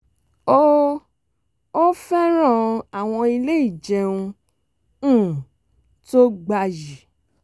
ó ó fẹ́ràn àwọn ilé ìjẹun um tó gbayì